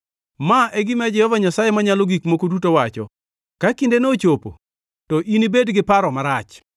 “ ‘Ma e gima Jehova Nyasaye Manyalo Gik Moko Duto wacho: Ka kindeno ochopo to inibed gi paro marach.